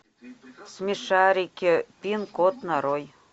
смешарики пин код нарой